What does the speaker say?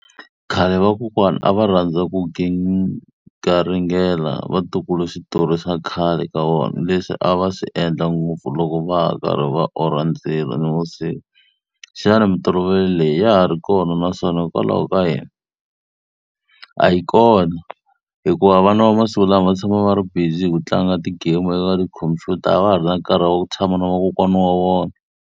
Khale vakokwana a va rhandza ku garingela vatukulu switori swa khale ka vona, leswi a va swi endla ngopfu loko va karhi va orhela ndzilo nivusiku. Xana mintolovelo leyi ya ha ri kona naswona hikokwalaho ka yini? A yi kona. Hikuva vana va masiku lama va tshama va ri busy hi ku tlanga ti-game tikhompyuta, a va ha ri na nkarhi wa ku tshama na vakokwana wa vona.